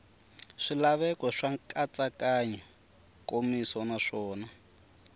swilaveko swa nkatsakanyo nkomiso naswona